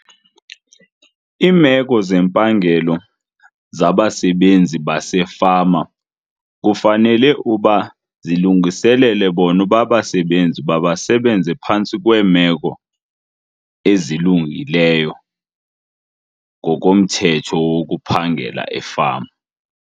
Imeko zempangelo zabasebenzi basefama kufanele uba zilungiselele bona uba abasebenzi mabasebenze phantsi kweemeko ezilungileyo ngokomthetho wokuphangela efama.